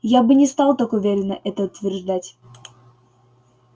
я бы не стал так уверенно это утверждать